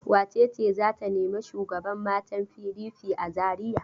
Wace ce za ta nemi shugaban matan PDP a Zariya?